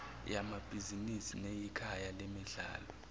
yamabhizinisi neyikhaya lemidlalo